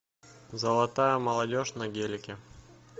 золотая молодежь на гелике